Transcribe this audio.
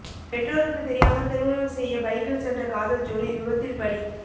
பெற்றோருக்கு தெரியாமல் திருமணம் செய்ய பைக்கில் சென்ற காதல் ஜோடி விபத்தில் பலி